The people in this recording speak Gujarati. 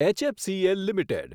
HFCL limited